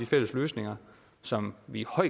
fælles løsninger som vi og